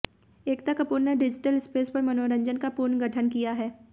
एकता कपूर ने digital space पर मनोरंजन का पुनर्गठन किया है